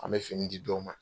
An bɛ fini di dɔ ma